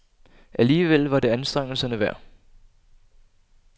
Alligevel var det anstrengelserne værd.